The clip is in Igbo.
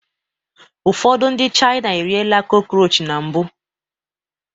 Ụfọdụ ndị China eriela crockroach na mbụ